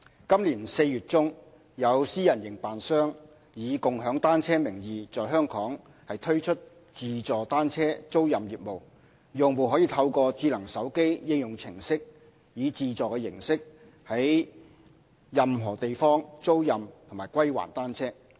今年4月中，有私人營辦商以"共享單車"名義在本港推出自助單車租賃業務，用戶可透過智能手機應用程式以自助形式在任何地方租賃和歸還單車。